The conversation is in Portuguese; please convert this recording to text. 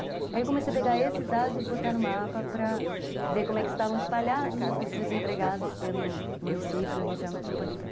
Aí eu comecei a pegar esses dados e botar no mapa para ver como é que estavam espalhados os os desempregados pelo município e região metropolitana.